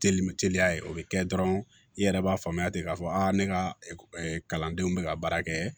Telime teliya ye o be kɛ dɔrɔn i yɛrɛ b'a faamuya ten k'a fɔ a ne ka kalandenw be ka baara kɛ